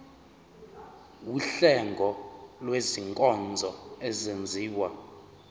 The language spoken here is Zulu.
wuhlengo lwezinkonzo ezenziwa